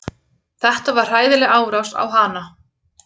Þetta var hræðileg árás á hana